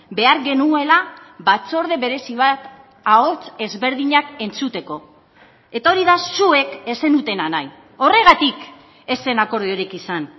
behar genuela batzorde berezi bat ahots ezberdinak entzuteko eta hori da zuek ez zenutena nahi horregatik ez zen akordiorik izan